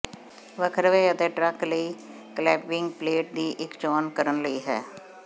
ਵੱਖਰਵੇ ਅਤੇ ਟਰੱਕ ਲਈ clamping plate ਦੀ ਇੱਕ ਚੋਣ ਕਰਨ ਲਈ ਹੈ